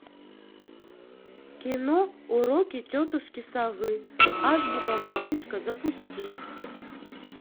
кино уроки тетушки совы азбука малышка запусти